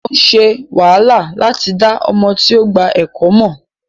Ko ṣe wàhálà lati da ọmọ ti o gba ẹkọ mọ.